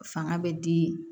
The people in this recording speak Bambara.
Fanga bɛ di